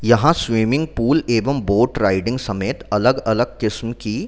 यहाँ swimming pool एवं boat riding समेत अलग-अलग किस्म की --